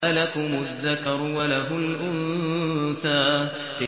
أَلَكُمُ الذَّكَرُ وَلَهُ الْأُنثَىٰ